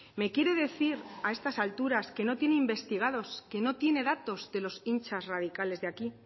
me quiere decir a estas alturas que no tiene investigados que no tiene datos de los hinchas radicales de aquí